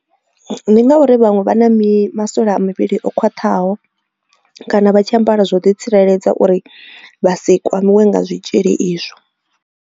Ndi ngauri vhaṅwe vha na mini masole a mivhili o khwaṱhaho kana vha tshi ambara zwo ḓi tsireledza uri vha si kwamiwe nga zwitzhili izwo.